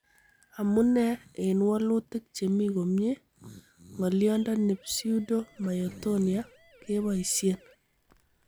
Amune en wolutik chemi komie, ng'olyondi pseudo myotonia keboisien.